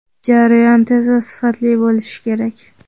Jarayon tez va sifatli bo‘lishi kerak.